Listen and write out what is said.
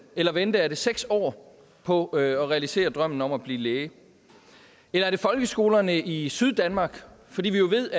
eller vente er det seks år på at realisere drømmen om at blive læge eller er det folkeskolerne i syddanmark for vi ved